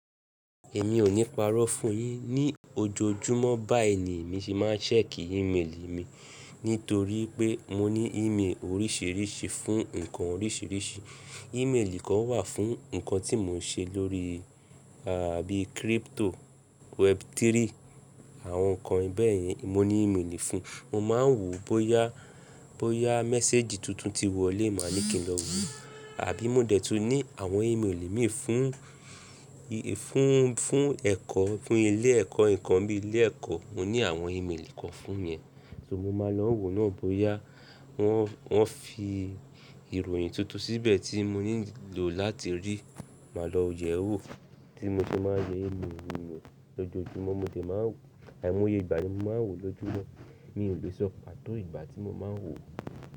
Èmi ò ní parọ́ fún yín ní ojoojúmọ́ bá èyí ni mi ṣe máa ń ṣẹ̀kì email mi nítorí pé mo ní email oríṣìíríṣìí fún nǹkan oríṣìíríṣìí. Email kan wà fún nǹkan tí mò ń ṣe lórí, àbí crypto, web3 àwọn nǹkan bẹ́ẹ̀ yẹn mo ní email fún un. Mo máa ń wò bóyá, bóyá message tuntun ti wọlé máa ní kí n lọ wo àbí mo dẹ̀tún ní àwọn email mi fún, fún, fún ẹ̀kọ́, fún ilé ẹ̀kọ́, nǹkan bíi ilé ẹ̀kọ́ mo ní àwọn email kan fún ìyẹn. So mo máa lọ wò náà bóyá wọ́n, wọ́n fi ìròyìn tuntun síbẹ̀ tí mo nílò láti rí, màá lọ yẹ̀ ẹ́ wò. Tí mo ṣe máa ń ṣe email lójoojúmọ́, mo dẹ̀ máa ń wò, Àìmọ́ye ìgbà ni mo máa ń wò lójúmọ́. Mi ò lè sọ pàtó ìgbà tí mo máa ń wò ó.